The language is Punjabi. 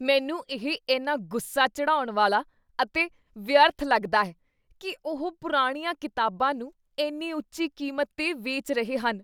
ਮੈਨੂੰ ਇਹ ਇੰਨਾ ਗੁੱਸਾ ਚੜ੍ਹਾਉਣ ਵਾਲਾ ਅਤੇ ਵਿਅਰਥ ਲੱਗਦਾ ਹੈ ਕੀ ਉਹ ਪੁਰਾਣੀਆਂ ਕਿਤਾਬਾਂ ਨੂੰ ਇੰਨੀ ਉੱਚੀ ਕੀਮਤ 'ਤੇ ਵੇਚ ਰਹੇ ਹਨ।